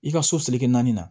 I ka so seli kɛ naani na